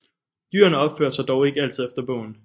Dyrene opførte sig dog ikke altid efter bogen